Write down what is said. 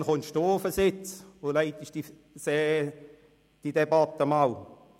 Wann kommen Sie auf den Sitz und leiten diese Debatte einmal?